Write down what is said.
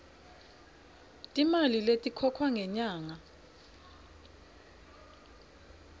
timali letikhokhwa ngenyanga